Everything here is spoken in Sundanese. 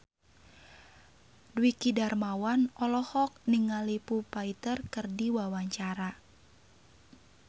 Dwiki Darmawan olohok ningali Foo Fighter keur diwawancara